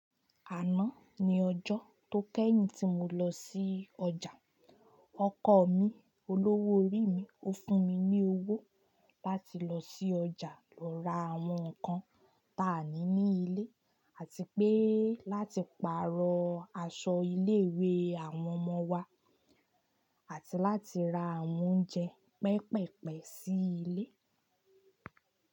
Àná ni ọjọ́ tó kẹ́yìn tí mo lọ sí ọjà. Ọkọ mi, olówó orí mi, ó fún mi ní owó. Láti lọ sí ọjà lọ ra àwọn nǹkan táa ni ní ilé àti pé láti pàrọ̀ aṣọ ilé-ìwé àwọn ọmọ wa. Àti láti ra àwọn oúnjẹ pẹpeẹ̀pẹ̀ sí ilé.